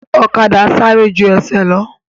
Ọ̀kadà sáré ju ẹsẹ̀ lọ